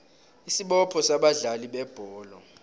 isibopho sabadlali bebholo